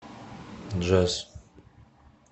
джаз